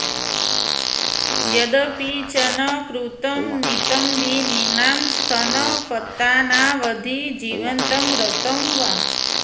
यदपि च न कृतं नितम्बिनीनां स्तनपतनावधि जीवितं रतं वा